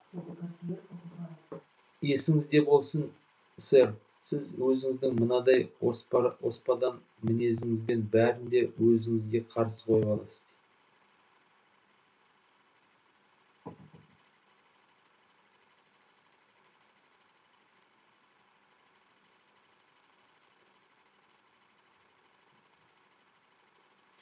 есіңізде болсын сэр сіз өзіңіздің мынадай оспадар мінезіңізбен бәрін де өзіңізге қарсы қойып аласыз